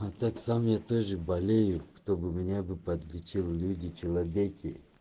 я тоже болею кто бы меня бы подлетел люди человеки